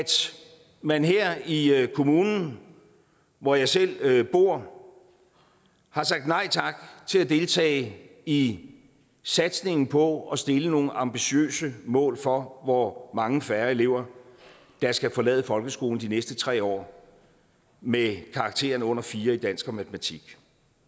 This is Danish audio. man her i kommunen hvor jeg selv bor har sagt nej tak til at deltage i satsningen på at stille nogle ambitiøse mål for hvor mange færre elever der skal forlade folkeskolen de næste tre år med en karakter på under fire i dansk og matematik